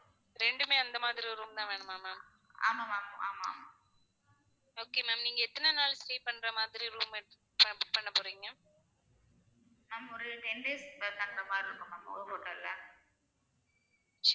ஒரு ten days தங்குற மாதிரி இருக்கும் ma'am ஒரு hotel ல